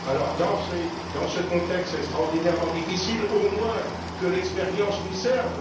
Alors, dans ce contexte extraordinairement difficile, au moins, que l'expérience nous serve.